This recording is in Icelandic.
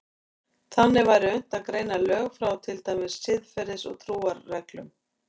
Þannig væri unnt að greina lög frá til dæmis siðferðis- og trúarreglum.